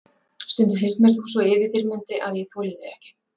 Stundum finnst mér þú svo yfirþyrmandi að ég þoli þig ekki.